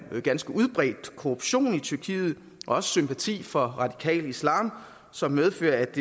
ganske udbredt korruption i tyrkiet og også sympati for radikal islam som medfører at